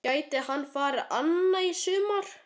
Gæti hann farið annað í sumar?